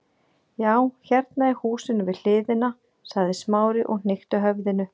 Já, hérna í húsinu við hliðina- sagði Smári og hnykkti höfðinu.